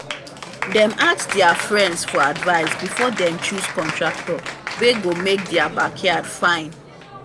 dem ask their friends for advice before dem choose contractor wey go make theri backyard fine.